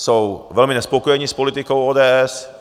Jsou velmi nespokojení s politikou ODS.